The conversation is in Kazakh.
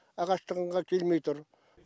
ағаш тығынға келмей тұр